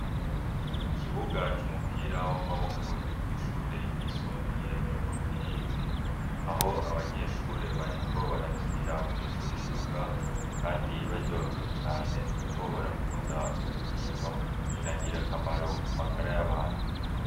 Ikibuga c'umupira w'amaboko ryo kw'ishure ryisumbuye ryo mu Rubirizi aho abanyeshure bariko barakinira mur'ico kibuga kandi baryohewe cane kuko barakunda uwo mukino, nina ngirakamaro ku magara y'abantu.